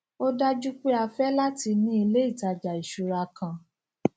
ó dájú pé a fé láti ní ilé ìtajà ìṣúra kan